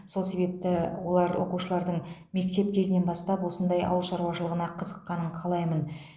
сол себепті олар оқушылардың мектеп кезінен бастап осындай ауыл шаруашылығына қызыққанын қалаймын